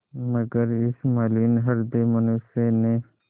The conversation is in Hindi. मगर इस मलिन हृदय मनुष्य ने